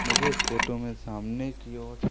मुझे इस फोटो में सामने की ओर--